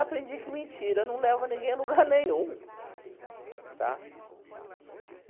Aprendi que mentira não leva ninguém a lugar nenhum, tá?